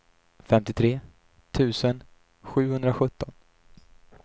femtiotre tusen sjuhundrasjutton